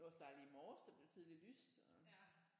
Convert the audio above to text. Det var også dejligt i morges der blev tidligt lyst og